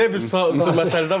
Belə bir məsələ də var.